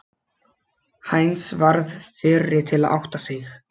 Heinz varð fyrri til að átta sig.